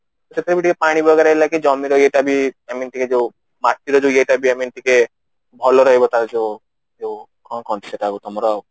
ସେଥିରେ ବି ପାଣି ଟିକେ ଜମିର ଇଏ ଟା ବି I mean ଟିକେ ଜଉ ମାଟିର ଇଏ ଟା ବି I mean ଟିକେ ଭଲ ରାହିବା ତାର ଜଉ କଣ କୁହନ୍ତି ସେଟାକୁ ତମର